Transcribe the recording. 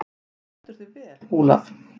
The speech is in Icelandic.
Þú stendur þig vel, Olav!